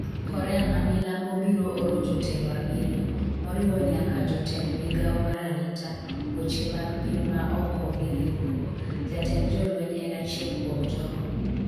Korea ma milambo biro oro jotelo abiriyo, moriwo nyaka jotend migawo mar arita, weche mag piny ma oko gi riwruok . Jatend jolweny en achiel kuom jogo